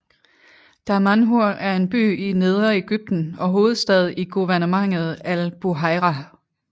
Damanhur er en by i Nedre Egypten og hovedstad i guvernementet Al Buhayrah